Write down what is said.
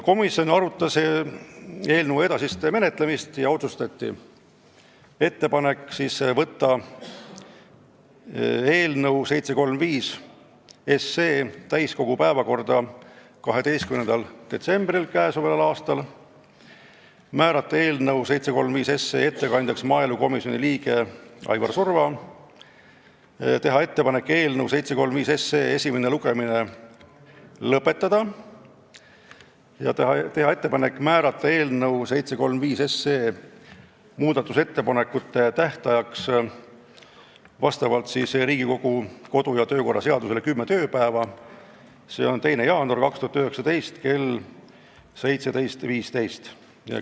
Komisjon arutas eelnõu edasist menetlemist ja otsustati teha ettepanek võtta eelnõu 735 täiskogu päevakorda 12. detsembril k.a, määrata ettekandjaks maaelukomisjoni liige Aivar Surva, teha ettepanek esimene lugemine lõpetada ja määrata muudatusettepanekute tähtajaks vastavalt Riigikogu kodu- ja töökorra seadusele kümme tööpäeva, seega see on 2. jaanuar 2019 kell 17.15.